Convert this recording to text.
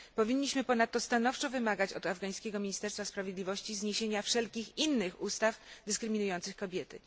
Powinniśmy ponadto stanowczo wymagać od afgańskiego Ministerstwa Sprawiedliwości zniesienia wszelkich innych ustaw dyskryminujących kobiety.